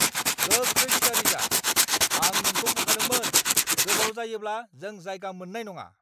गोख्रै थियारि जा! आं नोंखौ बुंखादोंमोन गोबाव जायोब्ला जों जायगा मोननाय नङा!